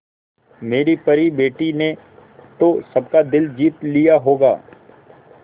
मेरी परी बेटी ने तो सबका दिल जीत लिया होगा